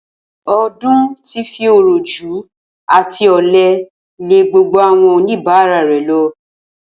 O̩dún ti fi òròjú àti ò̩le̩ lé gbogbo àwo̩n oníbàárà re̩ lo̩